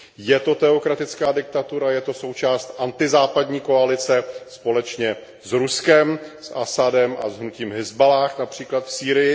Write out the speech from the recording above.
Je to teokratická diktatura, je to součást antizápadní koalice společně s Ruskem, s Asadem a hnutím Hizballáh, například v Sýrii.